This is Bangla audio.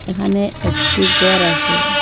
এখানে একটি গর আচে ।